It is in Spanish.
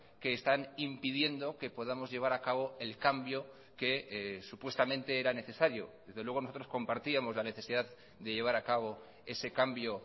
que están impidiendo que podamos llevar acabo el cambio que supuestamente era necesario desde luego nosotros compartíamos la necesidad de llevar acabo ese cambio